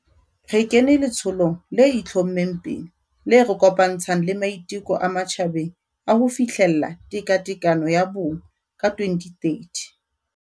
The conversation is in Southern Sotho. Re kene letsholong le itlho-mmeng pele le re kopantshang le maiteko a matjhabeng a ho fihlella tekatekano ya bong ka 2030.